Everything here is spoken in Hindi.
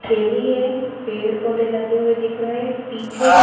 थैली है पेड़ पौधे लगे हुए दिख रहे हैं पीछे--